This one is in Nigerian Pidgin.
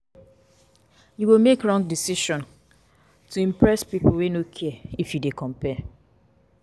You go make wrong decision to impress pipo wey no care if you dey compare.